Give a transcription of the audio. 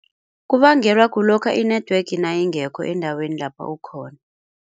Kubangelwa kulokha i-network nayingekho endaweni lapho ukhona.